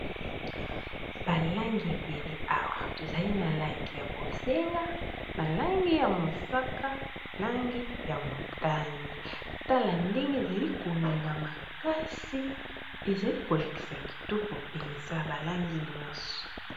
Ba langi ebele Awa tozali na langi ya bonzenga na langi ya mosaka langi ya motane tala ndenge ezali ko ngenga makasi ezali kolakisa kitoko penza ba langi oyo nioso.